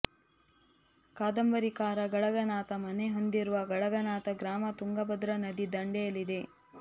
ಕಾದಂಬರಿಕಾರ ಗಳಗನಾಥ ಮನೆ ಹೊಂದಿರುವ ಗಳಗನಾಥ ಗ್ರಾಮ ತುಂಗಭದ್ರಾ ನದಿ ದಂಡೆಯಲ್ಲಿದೆ